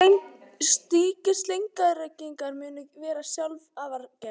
Slíkir steingervingar munu vera afar sjaldgæfir